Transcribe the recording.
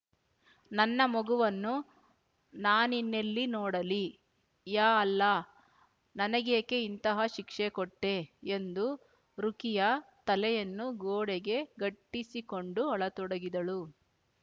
ನನ್ನ ಮಗುವನ್ನು ನಾನಿನ್ನೆಲ್ಲಿ ನೋಡಲಿ ಯಾ ಅಲ್ಲಾ ನನಗೇಕೆ ಇಂತಹ ಶಿಕ್ಷೆ ಕೊಟ್ಟೆ ಎಂದು ರುಖಿಯಾ ತಲೆಯನ್ನು ಗೋಡೆಗೆ ಗಟ್ಟಿಸಿಕೊಂಡು ಅಳತೊಡಗಿದಳು